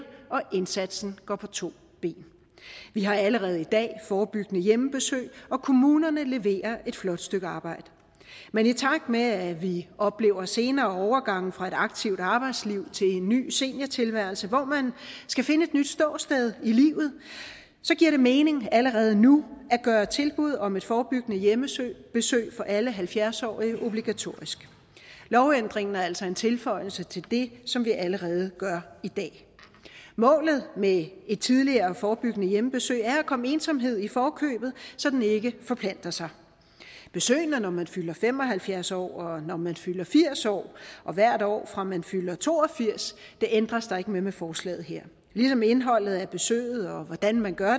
og indsatsen gå på to ben vi har allerede i dag forebyggende hjemmebesøg og kommunerne leverer et flot stykke arbejde men i takt med at vi oplever senere overgange fra et aktivt arbejdsliv til en ny seniortilværelse hvor man skal finde et nyt ståsted i livet så giver det mening allerede nu at gøre tilbud om et forebyggende hjemmebesøg for alle halvfjerds årige obligatorisk lovændringen er altså en tilføjelse til det som vi allerede gør i dag målet med et tidligere forebyggende hjemmebesøg er at komme ensomhed i forkøbet så den ikke forplanter sig besøgene når man fylder fem og halvfjerds år når man fylder firs år og hvert år fra man fylder to og firs år ændres der ikke ved med forslaget her ligesom indholdet af besøget hvordan man gør